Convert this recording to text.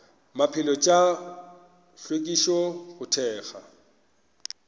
maphelo tša hlwekišo go thekga